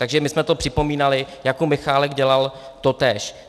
Takže my jsme to připomínali, Jakub Michálek dělal totéž.